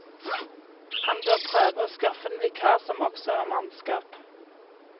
Han bør prøve å skaffe en vikar som også er mannskap.